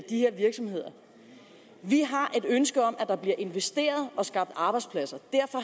de her virksomheder vi har et ønske om at der bliver investeret og skabt arbejdspladser